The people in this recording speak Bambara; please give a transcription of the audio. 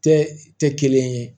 Tɛ tɛ kelen ye